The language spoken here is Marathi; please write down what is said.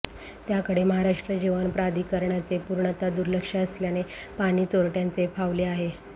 त्याकडे महाराष्ट्र जीवन प्राधिकरणाचे पूर्णतः दुर्लक्ष असल्याने पाणी चोरटय़ांचे फावले आहे